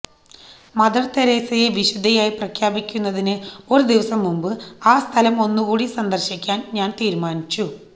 Mother തെരേസയെ വിശുദ്ധയായി പ്രഖ്യാപിക്കുന്നതിന് ഒരു ദിവസം മുമ്പ് ആ സ്ഥലം ഒന്നുകൂടി സന്ദര്ശിക്കാന് ഞാന് തീരുമാനിച്ചു